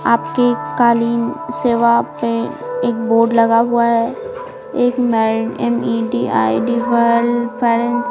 आपके कालीन सेवा में एक बोर्ड लगा हुआ है एक --